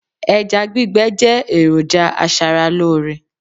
ẹja gbígbẹ je eroja aṣara lore